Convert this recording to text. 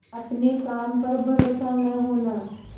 अपने काम पर भरोसा न होना